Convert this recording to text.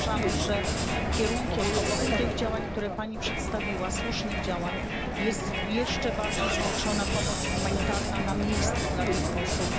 Uważamy, że kierunkiem, obok tych działań, które Pani przedstawiła, słusznych działań, jest jeszcze większa pomoc humanitarna na miejscu dla tych osób.